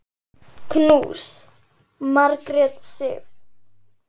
Knús, Margrét Sif.